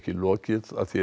lokið að því er